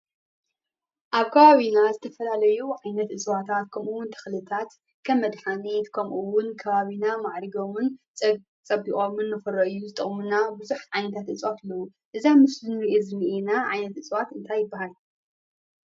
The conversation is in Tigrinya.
ኣብ ከባቢና ዝተፈላለዩ ዓይነት እፅዋታት ከምኡ እዉን ተክልታት ከም መድሓኒት ከምኡ እዉን ከባቢና ማዕሪጎምን ፀቢቖምን ንኽርኣዩ ዝጠቕሙና ቡዙሓት ዓይነታት እፅዋት እንኤዉ። እዚ ኣብ ምስሊ እንሪኦ ዝንኤና ዓይነት እፅዋት እንታይ ይብሃል?